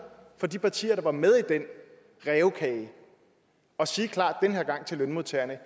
fra de partier der var med i den rævekage at sige klart til lønmodtagerne